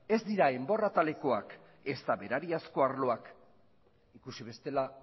ez dira enbor atalekoak ezta berariazko arloak ikusi bestela